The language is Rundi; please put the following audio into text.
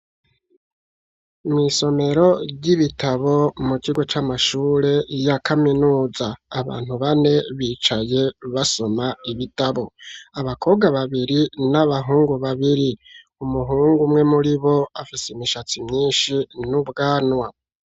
Mw'isomero ry'ibitabo mu kigo c'amashure ya kaminuza, abantu bane bicaye basoma ibitabo, abakobwa babiri n'abahungu babiri, umuhungu umwe muri bo afise imishatsi myinshi n'ubwanwa.